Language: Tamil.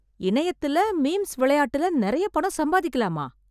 இணையத்துல மீம்ஸ் விளையாட்டுல நிறைய பணம் சம்பாதிக்கலாமா